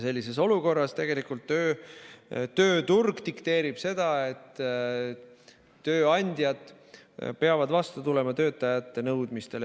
Sellises olukorras tööturg tegelikult dikteerib seda, et tööandjad peavad vastu tulema töötajate nõudmistele.